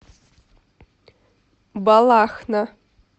балахна